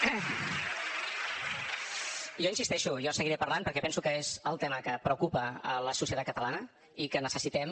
jo hi insisteixo jo seguiré parlant perquè penso que és el tema que preocupa a la societat catalana i que necessitem